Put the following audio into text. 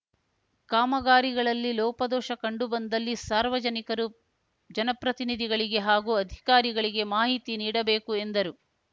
ಕಾಮಗಾರಿಗಳಲ್ಲಿ ಲೋಪದೋಷ ಕಂಡು ಬಂದಲ್ಲಿ ಸಾರ್ವಜನಿಕರು ಜನಪ್ರತಿನಿಧಿಗಳಿಗೆ ಹಾಗೂ ಅಧಿಕಾರಿಗಳಿಗೆ ಮಾಹಿತಿ ನೀಡಬೇಕು ಎಂದರು